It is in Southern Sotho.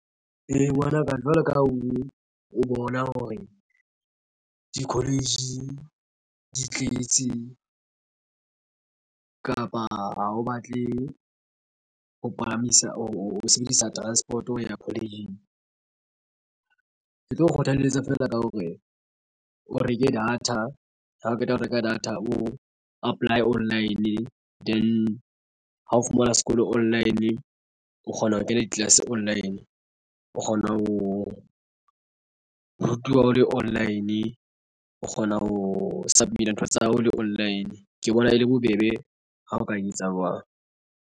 Ee, ngwanaka jwalo ka ha o o bona hore di-college di tletse kapa o batle ho palamisa o sebedisa transport-o ya college-ing ke tlo kgothalletsa feela ka hore o reke data ha o qeta ho reka data o apply online then ha o fumana sekolo online o kgona ho kena di-class online o kgona ho rutiwa o le online o kgona ho submit-a ntho tsa hao le online. Ke bona e le bobebe ha o ka etsa jwalo.